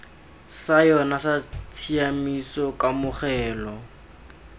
sa yona sa tshiaimiso kamogelo